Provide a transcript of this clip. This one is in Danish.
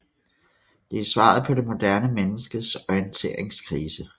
Det er svaret på det moderne menneskets orienteringskrise